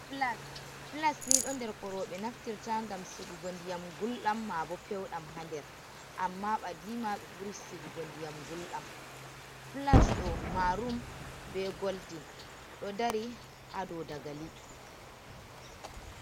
Filas ni ɗo nder ko rooɓe naftirta ngam sigugo ndiyam gulɗam maa bo pewɗam ha nder, amma badiima ɓe ɓuri sigugo ndiyam gulɗam filas ɗo marum be goldin ɗo dari ha dou dagali.